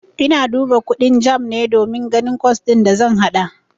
Ina duba kundin JAMB ne don ganin kwas din da zan haɗa.